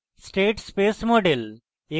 state space model: